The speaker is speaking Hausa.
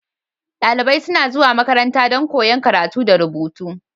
Dalibai suna zuwa makaranta don koyon karatu da rubutu.